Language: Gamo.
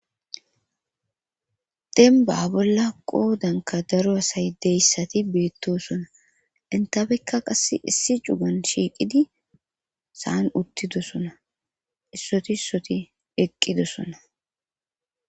Demba bolla qoodanka daro asay deyssati beettosona intafekka qasse issi cugan shiiqidi saan uttidosona issoti issoti eqqidosona